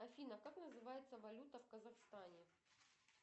афина как называется валюта в казахстане